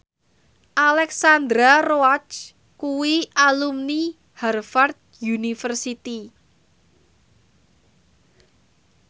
Alexandra Roach kuwi alumni Harvard university